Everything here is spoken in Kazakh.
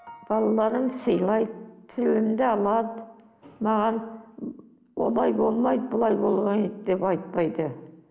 балаларым сыйлайды тілімді алады маған олай болмайды былай болмайды деп айтпайды